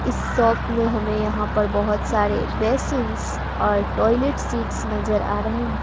इस शॉप में हमें यहां पर बहोत सारे बेसिंस और टॉयलेट सीट्स नजर आ रहे हैं।